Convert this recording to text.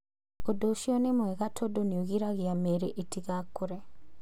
Ũndũ ũcio nĩ mwega tondũ nĩ ũgiragia mĩri ĩtigakũre.